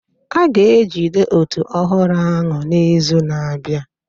A ga-ejide òtù ọhụrụ ahụ n'izu na-abịa